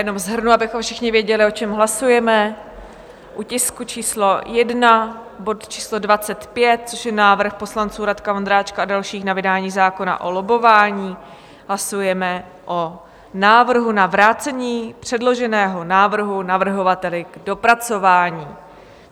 Jenom shrnu, abychom všichni věděli, o čem hlasujeme: u tisku číslo 1 bod číslo 25, což je návrh poslanců Radka Vondráčka a dalších na vydání zákona o lobbování, hlasujeme o návrhu na vrácení předloženého návrhu navrhovateli k dopracování.